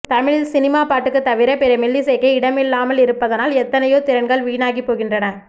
தமிழில் சினிமாப்பாட்டு தவிர பிற மெல்லிசைக்கே இடமில்லாமலிருப்பதனால் எத்தனையோ திறன்கள் வீணாகி போகின்றன